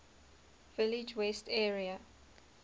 village west area